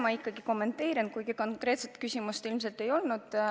Ma ikkagi kommenteerin, kuigi konkreetset küsimust nagu ei olnud.